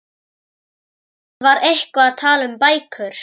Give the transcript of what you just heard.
Hann var eitthvað að tala um bækur.